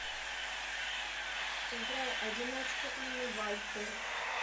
играй одиночка инны вальтер